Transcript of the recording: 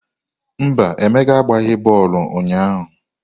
Mba, Emeka agbaghị bọọlụ ụnyahụ